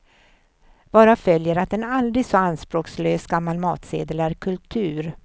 Varav följer att en aldrig så anspråkslös gammal matsedel är kultur.